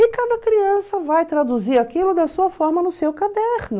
E cada criança vai traduzir aquilo da sua forma no seu caderno.